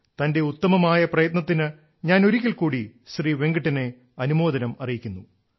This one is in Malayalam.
തന്റെ ഉത്തമമായ പ്രയത്നത്തിനു ഞാൻ ഒരിക്കൽക്കൂടി ശ്രീ വെങ്കിട്ടനെ അനുമോദനം അറിയിക്കുന്നു